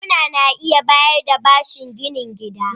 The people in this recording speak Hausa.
Bankuna na iya bayar da bashin gina gida.